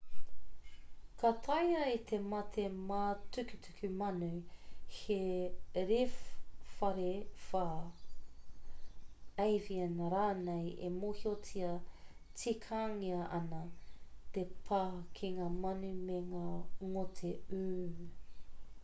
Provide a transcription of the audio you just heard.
ka taea e te mate mātukutuku manu te rewharewha avian rānei e mōhiotia tikangia ana te pā ki ngā manu me ngā ngote ū